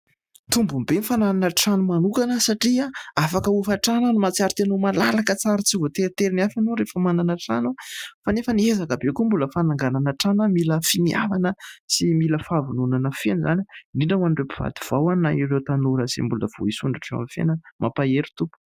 Tombony be ny fananana trano manokana satria afaka hofan-trano ary mahatsiaro tena ho malalaka tsara tsy voateriteritenin'ny hafa ianao rehefa manana trano. Fa nefany ezaka be ihany koa ny mbola fananganana trano, mila ny finiavana sy mila ny fahavononana feno izany. Indrindra hoan'ireo mpivady vao ; na ireo tanora izay mbola vao hisondrotra eo amin'ny fiainana. Mampahery tompoko !